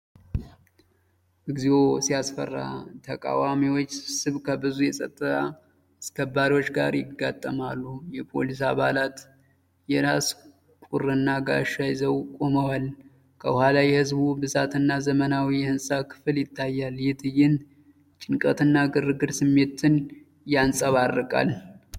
እግዚኦ ሲያስፈራ! የተቃዋሚዎች ስብስብ ከብዙ የፀጥታ አስከባሪዎች ጋር ይጋጠማሉ። የፖሊስ አባላት የራስ ቁርና ጋሻ ይዘው ቆመዋል። ከኋላ የሕዝቡ ብዛትና የዘመናዊ ህንፃ ክፍል ይታያል። ይህ ትዕይንት የጭንቀትና የግርግር ስሜትን ያንፀባርቃል።